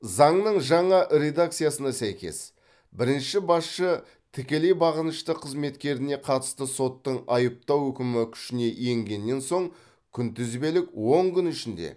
заңның жаңа редакциясына сәйкес бірінші басшы тікелей бағынышты қызметкеріне қатысты соттың айыптау үкімі күшіне енгеннен соң күнтізбелік он күн ішінде